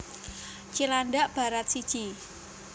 Cilandak Barat siji